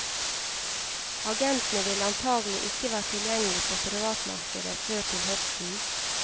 Agentene vil antagelig ikke være tilgjengelige for privatmarkedet før til høsten.